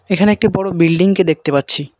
এখানে একটি বড় বিল্ডিংকে দেখতে পাচ্ছি।